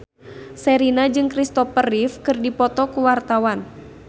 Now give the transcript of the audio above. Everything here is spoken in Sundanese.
Sherina jeung Christopher Reeve keur dipoto ku wartawan